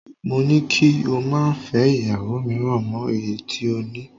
Mo ni kí o má fẹ́ ìyàwó mìíràn mọ èyí tí o ní